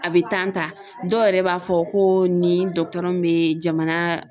A be tan ta dɔw yɛrɛ b'a fɔ ko ni dɔgɔtɔrɔ be jamana